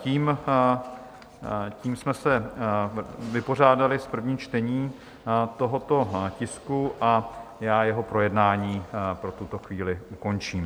Tím jsme se vypořádali s prvním čtením tohoto tisku a já jeho projednání pro tuto chvíli ukončím.